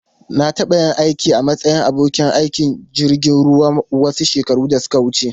Na taɓa yin aiki a matsayin abokin aikin jirgin ruwa wasu shekaru da suka wuce.